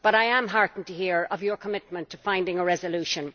But I am heartened to hear of your commitment to finding a resolution.